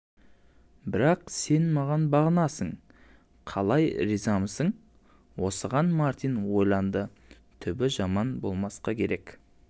бірақ сен маған бағынасың қалай ризамысың осыған мартин ойланды түбі жаман болмасқа керек